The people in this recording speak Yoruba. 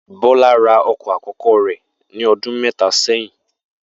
Bó̩lá ra o̩kò̩ akó̩kó̩ rè̩ ní o̩dún mé̩ta sé̩yìn